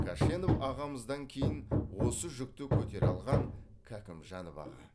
кәшенов ағамыздан кейін осы жүкті көтере алған кәкімжанов аға